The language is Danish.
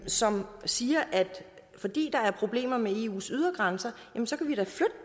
som siger at fordi der er problemer med eus ydre grænser